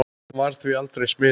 Hann varð því aldrei smiður.